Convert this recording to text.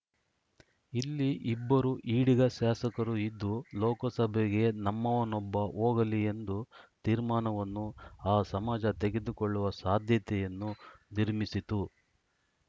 ಇಲ್ಲಿ ಇಬ್ಬರು ಈಡಿಗ ಶಾಸಕರು ಇದ್ದು ಲೋಕಸಭೆಗೆ ನಮ್ಮವನೊಬ್ಬ ಹೋಗಲಿ ಎಂದು ತೀರ್ಮಾನವನ್ನು ಆ ಸಮಾಜ ತೆಗೆದುಕೊಳ್ಳುವ ಸಾಧ್ಯತೆಯನ್ನು ನಿರ್ಮಿಸಿತು